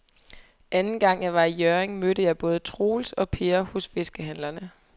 Anden gang jeg var i Hjørring, mødte jeg både Troels og Per hos fiskehandlerne.